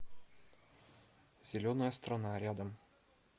зеленая страна рядом